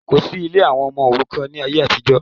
Kòsí ilé àwọn ọmọ òrukàn ní ayé àtijọ́